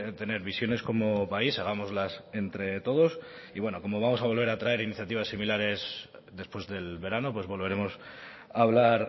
tener visiones como país hagámoslas entre todos y bueno como vamos a volver a traer iniciativas similares después del verano pues volveremos a hablar